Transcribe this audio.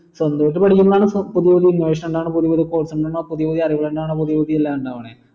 സ്വന്തമായിട്ട് പഠിക്കുമ്പോൾ ആണ് പുതിയ പുതിയ innovation പുതിയ പുതിയ പുതിയ പുതിയ അറിവ്‌ ഇണ്ടാവണേ പുതിയ പുതിയ എല്ലാം ഇണ്ടാവണേ